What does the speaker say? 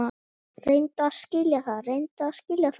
Reyndu að skilja það!